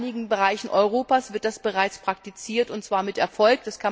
Aber in einigen Bereichen Europas wird das bereits praktiziert, und zwar mit Erfolg.